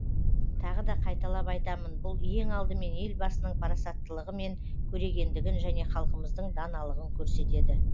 тағы да қайталап айтамын бұл ең алдымен елбасының парасаттылығы мен көрегендігін және халқымыздың даналығын көрсетеді